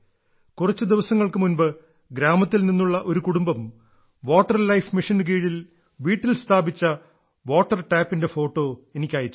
കുറച്ച് ദിവസങ്ങൾക്ക് മുമ്പ് ഗ്രാമത്തിൽ നിന്നുള്ള ഒരു കുടുംബം വാട്ടർ ലൈഫ് മിഷനു കീഴിൽ വീട്ടിൽ സ്ഥാപിച്ച വാട്ടർ ടാപ്പിന്റെ ഫോട്ടോ എനിക്ക് അയച്ചു